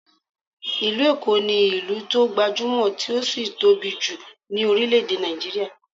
Ìlú Èkó ní ìlú tó gbajúmọ̀, tí ó sì tóbi jù ní orílé-èdè Nigeria